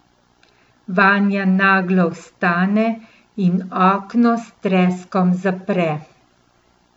Vanja naglo vstane in okno s treskom zapre.